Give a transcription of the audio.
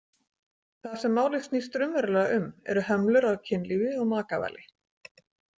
Það sem málið snýst raunverulega um eru hömlur á kynlífi og makavali.